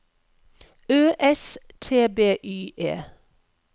Ø S T B Y E